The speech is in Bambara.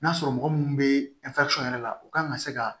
N'a sɔrɔ mɔgɔ minnu bɛ yɛrɛ la u kan ka se ka